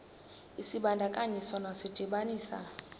isibandakanyi sona sidibanisa